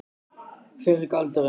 Hver er galdurinn?